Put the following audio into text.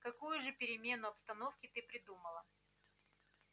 какую же перемену обстановки ты придумала